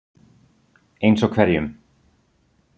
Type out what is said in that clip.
Eins og hverjum?